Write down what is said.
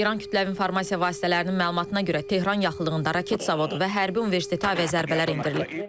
İran kütləvi informasiya vasitələrinin məlumatına görə Tehran yaxınlığında raket zavodu və hərbi universitetə əvəzə zərbələr endirilib.